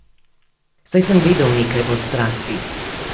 Saj sem vedel nekaj o strasti.